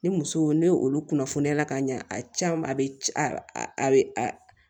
Ni muso ne olu kunnafoniya la ka ɲɛ a can a bɛ c a be